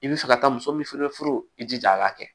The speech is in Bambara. I bɛ fɛ ka taa muso min fana furu i jija a ka kɛ